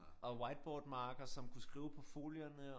Og whiteboard marker som kunne skrive på folierne